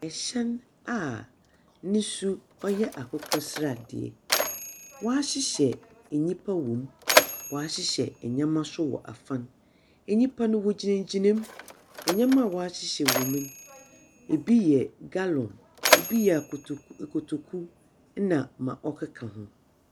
Hyɛn a ne su ɔyɛ akokɔsradeɛ, wɔahyehyɛ nnipa wɔ mu, wɔahyehyɛ nneɛma nso wɔ afa. Nnipa no, wɔgyinagyina mu. Nneɛma a wɔahyehyɛ wɔ mu no, bi yɛ gallon, bi yɛ koto akotoku na ma ɔkeka ho.